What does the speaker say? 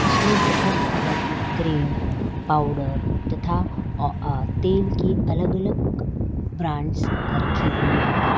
उसमें बहुत तरह की क्रीम पाउडर तथा अह तेल की अलग अलग ब्रांड्स रखी हुई हैं।